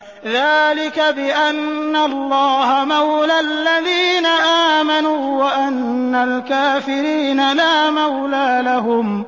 ذَٰلِكَ بِأَنَّ اللَّهَ مَوْلَى الَّذِينَ آمَنُوا وَأَنَّ الْكَافِرِينَ لَا مَوْلَىٰ لَهُمْ